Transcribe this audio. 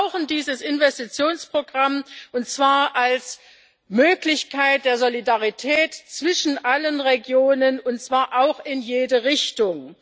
Wir brauchen dieses Investitionsprogramm, und zwar als Möglichkeit der Solidarität zwischen allen Regionen, und zwar auch in jede Richtung.